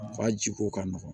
Ka ji ko ka nɔgɔn